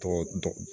Tɔgɔ